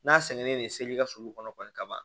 N'a sɛgɛnnen don seli ka sulu kɔnɔ kɔni ka ban